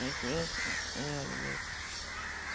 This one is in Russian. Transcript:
находится у меня блять